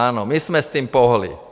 Ano, my jsme s tím pohnuli.